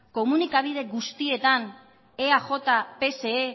komunikabide guztietan eaj pse